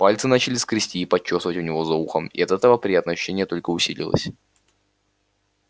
пальцы начали скрести и почёсывать у него за ухом и от этого приятное ощущение только усилилось